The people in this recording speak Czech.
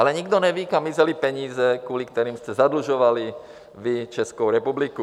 Ale nikdo neví, kam mizely peníze, kvůli kterým jste zadlužovali vy Českou republiku.